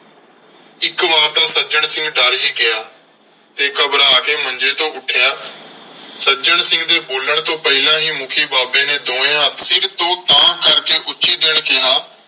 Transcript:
ਇਕ ਵਾਰ ਤਾਂ ਸੱਜਣ ਸਿੰਘ ਡਰ ਹੀ ਗਿਆ ਤੇ ਘਬਰਾ ਕੇ ਮੰਜੇ ਤੋਂ ਉੱਠਿਆ। ਸੱਜਣ ਸਿੰਘ ਦੇ ਬੋਲਣ ਤੋਂ ਪਹਿਲਾਂ ਹੀ ਮੁੱਖੀ ਬਾਬੇ ਨੇ ਦੋਵੇਂ ਹੱਥ ਸਿਰ ਤੋਂ ਤਾਂਹ ਕਰਕੇ ਉੱਚੀ ਜਿਹੇ ਕਿਹਾ।